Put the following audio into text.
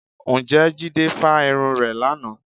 Ǹjẹ́ Jídé fa irun rẹ̀ lánàá?